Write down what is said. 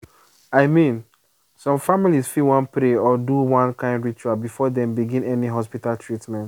i mean some families fit wan pray or do one kind ritual before dem begin any hospital treatment.